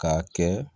K'a kɛ